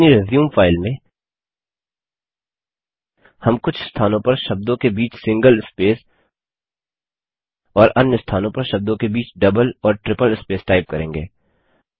अपनी resume file में हम कुछ स्थानों पर शब्दों के बीच सिंगल स्पेस और अन्य स्थानों पर शब्दों के बीच डबल और ट्रिपल स्पेस टाइप करेंगे